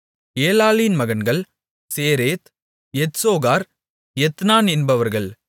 ஏலாளின் மகன்கள் சேரேத் எத்சோகார் எத்னான் என்பவர்கள்